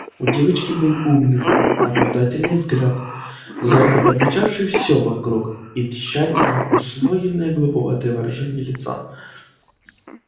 у девочки был умный наблюдательный взгляд зорко подмечавший всё вокруг и тщательно усвоенное глуповатое выражение лица